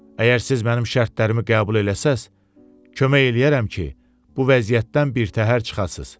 Əgər siz mənim şərtlərimi qəbul eləsəz, kömək eləyərəm ki, bu vəziyyətdən birtəhər çıxasız.